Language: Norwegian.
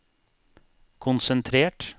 konsentrert